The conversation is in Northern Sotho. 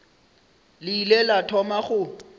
le ile la thoma go